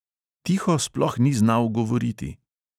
Tiho sploh ni znal govoriti.